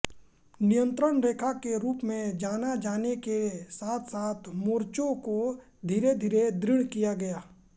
नियंत्रण रेखा के रूप में जाना जाने के साथसाथ मोर्चों को धीरेधीरे दृढ़ किया गया